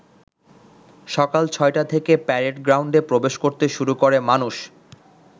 সকাল ছয়টা থেকে প্যারেড গ্রাউন্ডে প্রবেশ করতে শুরু করে মানুষ।